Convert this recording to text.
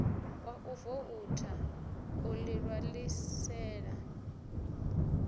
wa u voutha u ḓiṋwalisela